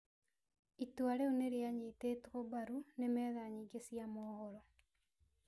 Itua rĩu nĩ rĩanyitĩtwo mbaru nĩ metha yingĩ cia mohoro.